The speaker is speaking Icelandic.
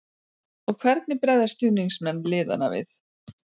Og hvernig bregðast stuðningsmenn liðanna við?